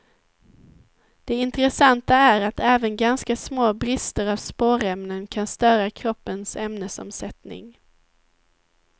Det intressanta är att även ganska små brister av spårämnen kan störa kroppens ämnesomsättning.